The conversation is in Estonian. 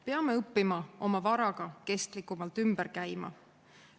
Peame õppima oma varaga kestlikumalt ümber käima.